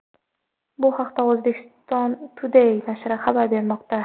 Bu haqda Uzbekistan Today nashri xabar bermoqda .